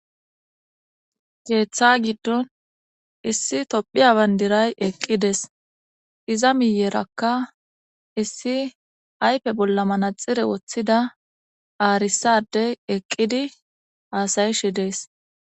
Keeththa giddon issi tophiya bandiray eqqides iza miyerakka issi ayfe bolla manaxire woththida aarisaade eqqidi aasayishe dees